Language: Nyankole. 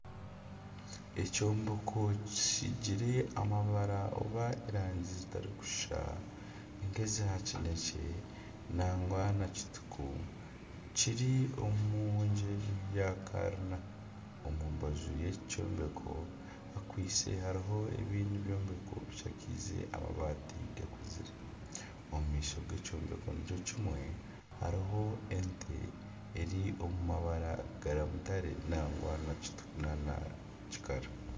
Ekyombeko kisiigire erangi oba amabara gatarikushushana nk'eza kineekye nangwa n'ezirikutukura kiri omu muringo gwa karina, omu mbaju y'eki kyombeko harimu ebindi byombeko bishakaize amabaati gakuzire omu maisho g'ekyombeko nikyo kimwe hariho ente, eri omu mabara ga mutare nangwa